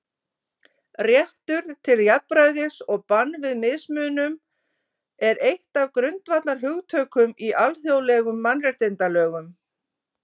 Réttur til jafnræðis og bann við mismunun er eitt af grundvallarhugtökum í alþjóðlegum mannréttindalögum.